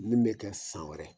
Min be kɛ san wɛrɛ